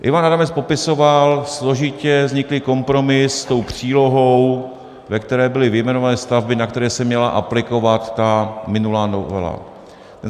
Ivan Adamec popisoval složitě vzniklý kompromis s tou přílohou, ve které byly vyjmenované stavby, na které se měla aplikovat ta minulá novela.